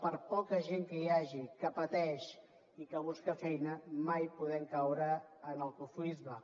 per poca gent que hi hagi que pateix i que busca feina mai podem caure en el cofoisme